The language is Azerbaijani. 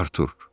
Artur!